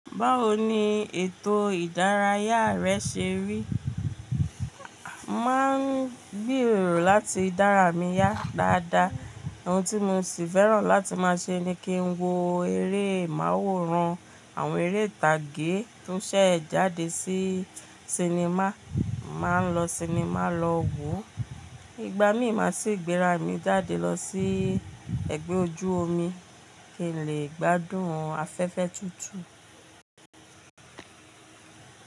Báwo ni ètò ìdárayá rẹ ṣe rí? Máa ń gbèrò láti dára mi yá dáadáa. Ohun tí mo sì fẹ́ràn láti máa ṣe ni kí n wo eré máworan, àwọn eré ìtàgé tó ṣẹ̀ jáde sí sinimá, máa ń lọ sinimá lọ wo. Igba mi ì máa sì gbéra mi jáde lọ sí ẹgbẹ́ ojú omi kí n lè gbádùn afẹ́fẹ́ tútù.